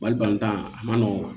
Wali tan a ma nɔgɔn